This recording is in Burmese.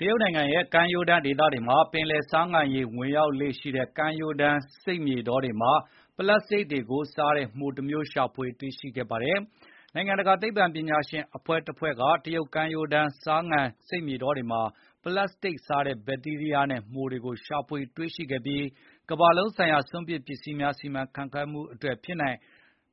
တရုတ်နိုင်ငံရဲ့ ကမ်းရိုးတန်းဒေသမှာရှိတဲ့ ပင်လယ်ဆားငံရေ ၀င်ရောက်လေ့ရှိတဲ့ ကမ်းရိုးတန်း မြက်ခင်းပြင်ဧရိယာတွေမှာ ပလတ်စတစ်တွေကို စားတဲ့ မှိုတမျိုး ရှာဖွေတွေ့ရှိခဲ့ပါတယ်။ နိုင်ငံတကာ သိပ္ပံပညာရှင်အဖွဲ့တဖွဲ့က တရုတ်ကမ်းရိုးတန်း ဆားနယ်ဒေသတွေမှာ ပလတ်စတစ်စားတဲ့ ဘက်တီးရီးယားနဲ့ မှိုတွေကို ရှာဖွေတွေ့ရှိခဲ့ပြီး ကမ္ဘာလုံးဆိုင်ရာ စွန့်ပစ်ပစ္စည်းများ စီမံခန့်ခွဲမှုအတွက် ဖြစ်နိုင်